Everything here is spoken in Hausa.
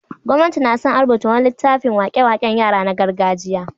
Gwamnati na sa an rubuta wani littafin wake-waken yara na gargajiya.